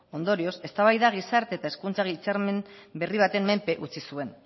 ondorioz eztabaida gizarte eta hezkuntza hitzarmen berri baten menpe utzi zuen